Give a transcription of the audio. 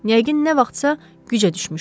Yəqin nə vaxtsa gücə düşmüşəm.